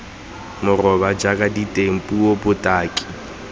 moraba jaaka diteng puo botaki